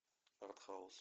артхаус